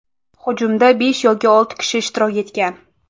Hujumda besh yoki olti kishi ishtirok etgan.